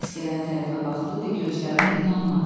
Səs gələn tərəfə baxdı və gözlərinə inanmadı.